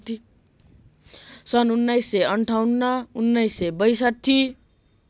सन् १९५८ १९६२